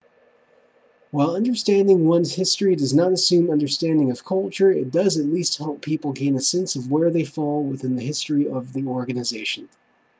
while understanding one's history does not assume understanding of culture it does at least help people gain a sense of where they fall within the history of the organization